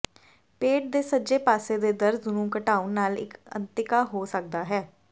ਪੇਟ ਦੇ ਸੱਜੇ ਪਾਸੇ ਦੇ ਦਰਦ ਨੂੰ ਘਟਾਉਣ ਨਾਲ ਇੱਕ ਅੰਤਿਕਾ ਹੋ ਸਕਦਾ ਹੈ